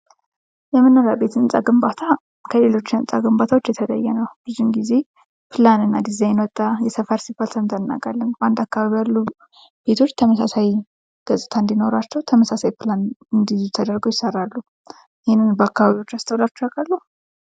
የመኖሪያ ቤት ህንፃ ግንባታ ከሌሎች ግንባታዎች የተለየ ነው ብዙውን ጊዜ ፕላንና ዲዛይን ወጣ የት ሰፈር ሰምተን እናውቃለን ፤ በአንድ አካባቢ ያሉ ቤቶች ተመሳሳይ ገጽታ እንዲኖራቸው ተመሳሳይ ፕላን እንዲይዙ ተደርገው ይሰራሉ ፤ ይህንን በአካባቢያችሁ አስተውላችሁ ያቃሉ?